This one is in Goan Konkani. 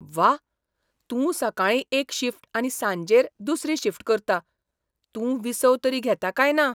व्वा! तूं सकाळीं एक शिफ्ट आनी सांजेर दुसरी शिफ्ट करता! तूं विसव तरी घेता काय ना?